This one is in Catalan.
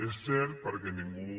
és cert perquè ningú